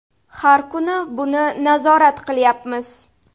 Har kuni buni nazorat qilyapmiz.